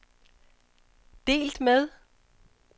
delt med